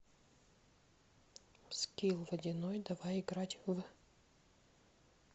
скилл водяной давай играть в